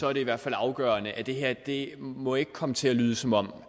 er det i hvert fald afgørende at det her ikke må komme til at lyde som om